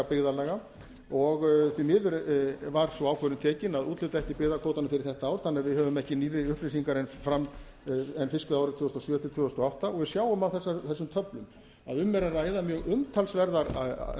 byggðarlaga og því miður var sú ákvörðun tekin að úthluta ekki byggðakvótanum fyrir þetta ár þannig að við höfum ekki nýrri upplýsingar en fiskveiðiárið tvö þúsund og sjö til tvö þúsund og átta og við sjáum á þessum töflum að um er að ræða mjög